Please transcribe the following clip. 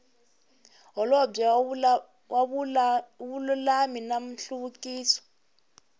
holobye wa vululami na nhluvukiso